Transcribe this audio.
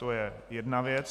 To je jedna věc.